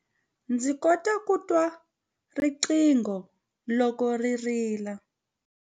Ndzi kota ku twa riqingho loko ri rila.